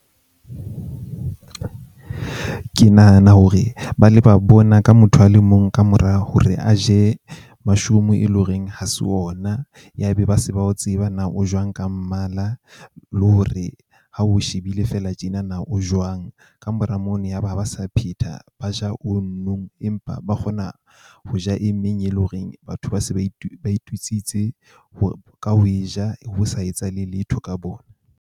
Ke nahana hore ba ile ba bona ka motho a le mong kamora hore a je mashome e leng horeng ha se ona ya be ba se ba o tseba na o jwang ka mmala. Le hore ha o shebile fela tjena na o jwang. Kamora mono yaba ha ba sa phetha ba ja ono empa ba kgona ho ja e meng, e leng horeng batho ba se ba ba itutsitse ka ho e ja ho sa etsahale letho ka bona.